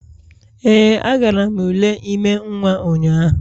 Ee, agara m ule ime nwa ụnyahụ